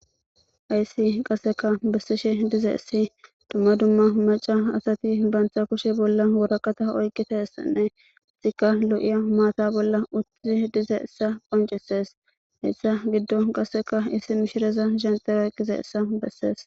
aysi qasseka bessishe diza issi dumma dumma maca asati baantha kushe bolla woraqata oyqqita essanne itika lo7iya maata bolla uttii diza issa qoncisees hessa giddo qasseka issi mishireza zente ayqqiza essa bessees